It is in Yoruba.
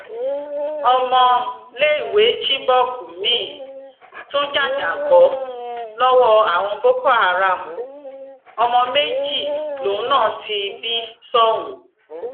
ọmọléèwé chibok miín tún jàjàbọ lọwọ àwọn boko haram ọmọ méjì lòun náà ti bí sóhun